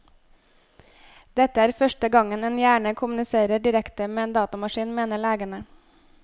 Dette er første gang en hjerne kommuniserer direkte med en datamaskin, mener legene.